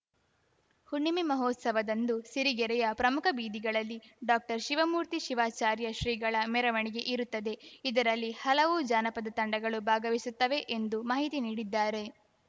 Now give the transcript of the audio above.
ಹುಣ್ಣಿಮೆ ಮಹೋತ್ಸವದಂದು ಸಿರಿಗೆರೆಯ ಪ್ರಮುಖ ಬೀದಿಗಳಲ್ಲಿ ಡಾಕ್ಟರ್ಶಿವಮೂರ್ತಿ ಶಿವಾಚಾರ್ಯ ಶ್ರೀಗಳ ಮೆರವಣಿಗೆ ಇರುತ್ತದೆ ಇದರಲ್ಲಿ ಹಲವು ಜಾನಪದ ತಂಡಗಳು ಭಾಗವಹಿಸುತ್ತವೆ ಎಂದು ಮಾಹಿತಿ ನೀಡಿದ್ದಾರೆ